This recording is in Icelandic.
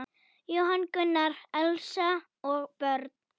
Jóhann Gunnar, Elsa og börn.